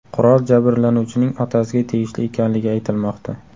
Qurol jabrlanuvchining otasiga tegishli ekanligi aytilmoqda.